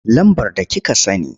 Lambar da kika sani.